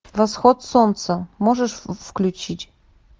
восход солнца можешь включить